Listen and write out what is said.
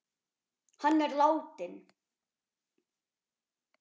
Hann er látinn.